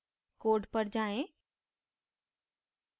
code पर जाएँ